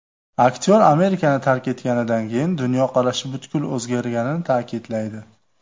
Aktyor Amerikani tark etganidan keyin dunyoqarashi butkul o‘zgarganini ta’kidlaydi.